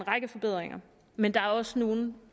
række forbedringer men der er også nogle